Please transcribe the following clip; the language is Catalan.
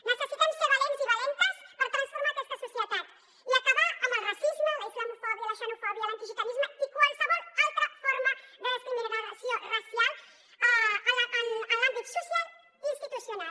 necessitem ser valents i valentes per transformar aquesta societat i acabar amb el racisme la islamofòbia la xenofòbia l’antigitanisme i qualsevol altra forma de discriminació racial en l’àmbit social i institucional